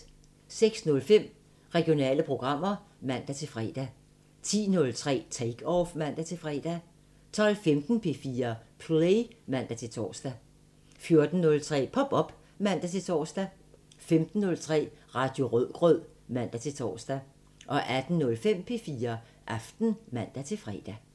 06:05: Regionale programmer (man-fre) 10:03: Take Off (man-fre) 12:15: P4 Play (man-tor) 14:03: Pop op (man-tor) 15:03: Radio Rødgrød (man-tor) 18:05: P4 Aften (man-fre)